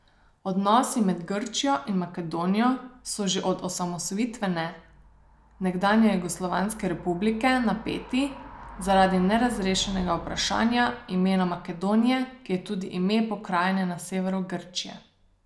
Odnosi med Grčijo in Makedonijo so že od osamosvojitve nekdanje jugoslovanske republike napeti zaradi nerešenega vprašanja imena Makedonije, ki je tudi ime pokrajine na severu Grčije.